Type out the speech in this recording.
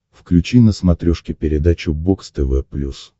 включи на смотрешке передачу бокс тв плюс